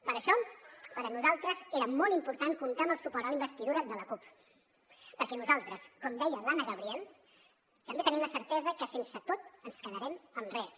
per això per a nosaltres era molt important comptar amb el suport a la investidura de la cup perquè nosaltres com deia l’anna gabriel també tenim la certesa que sense tot ens quedarem en res